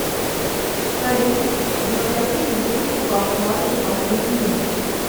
салют запросить выписку по вкладу за последний месяц